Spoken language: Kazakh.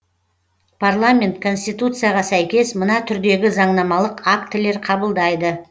парламент конституцияға сәйкес мына түрдегі заңнамалық актілер қабылдайды